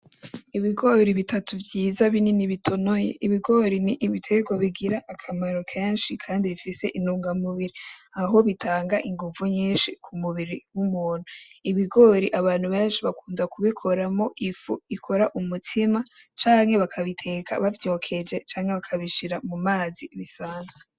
Ibigori bitatu vyiza binini bitonoye, ibigori nibiterwa bigira akamaro kenshi kandi bifise intunga mubiri aho bitanga inguvu nyinshi kumubiri wumuntu, ibigori abantu benshi bakunda kubikoramwo ifu ikora umutsima canke bakabiteka bavyokeje canke bakabishira mumazi bisanzwe.